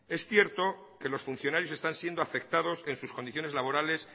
es cierto que los funcionarios están siendo afectados en sus condiciones laborales